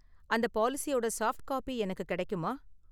அந்த பாலிசியோட soft copy எனக்கு கிடைக்குமா?